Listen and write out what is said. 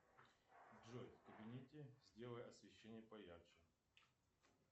джой в кабинете сделай освещение поярче